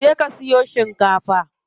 Je ka siyo shikafa.